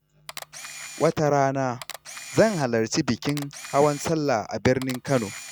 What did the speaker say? Wata rana, zan halarci bikin hawan Sallah a birnin Kano.